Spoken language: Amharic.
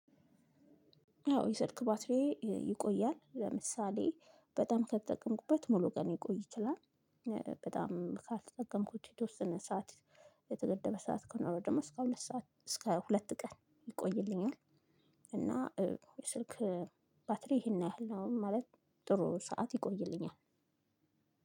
አዎ የስልክ ባትሪዬ ይቆያል ለምሳሌ በጣም ከተጠቀምኩበት ሙሉ ቀን ሊቆይ ይችላል። በጣም ካልተጠቀምኩት የተወሰነ ሰዓት። የተገደበ ሰዓት ከኖረው ደሞ እስከ ሁለት ሰዓት እስከ ሁለት ቀን ይቆይልኛል። እና ስልክ ባትሪ ይሄን ያህል ነው ማለት ጥሩ ሰዓት ይቆይልኛል።